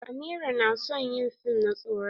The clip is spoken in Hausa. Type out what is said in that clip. Amira na son yi fim na tsoron.